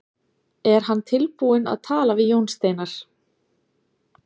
Er hann tilbúinn að tala við Jón Steinar?